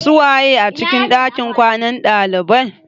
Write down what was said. Su waye a cikin ɗakin kwanan ɗalibai?